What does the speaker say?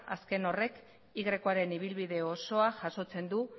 azken horrek yaren ibilbide osoa jasotzen du